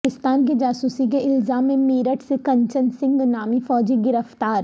پاکستان کی جاسوسی کے الزام میں میرٹھ سے کنچن سنگھ نامی فوجی گرفتار